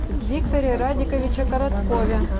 викторе радиковиче короткове